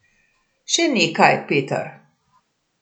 Še nekaj, Peter.